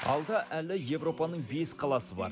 алда әлі европаның бес қаласы бар